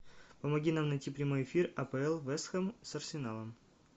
помоги нам найти прямой эфир апл вест хэм с арсеналом